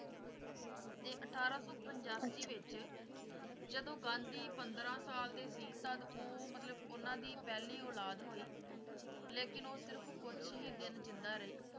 ਤੇ ਅਠਾਰਾਂ ਸੌ ਪੰਜਾਸੀ ਵਿੱਚ ਜਦੋਂ ਗਾਂਧੀ ਪੰਦਰਾਂ ਸਾਲ ਦੇ ਸੀ ਤੱਦ ਉਹ ਮਤਲੱਬ ਉਹਨਾਂ ਦੀ ਪਹਿਲੀ ਅੋੋੋੋਲਾਦ ਹੋਈ ਲੇਕਿਨ ਉਹ ਸਿਰਫ਼ ਕੁੱਛ ਹੀ ਦਿਨ ਜਿੰਦਾ ਰਹੀ,